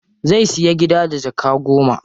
Zai siya gida da jaka goma.